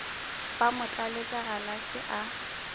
ba mo tlaletša galase a